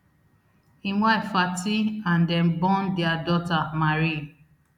im wife fati and dem born dia daughter marie